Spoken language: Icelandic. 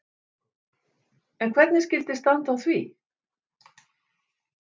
En hvernig skyldi standa á því?